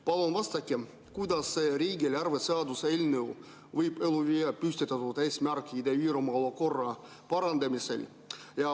Palun vastake, kuidas riigieelarve seaduse eelnõu ellu viia püstitatud eesmärki Ida-Virumaa olukorda parandada.